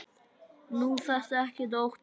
Nú þarftu ekkert að óttast.